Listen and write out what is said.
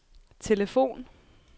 telefon